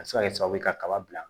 A bɛ se ka kɛ sababu ye kaba bila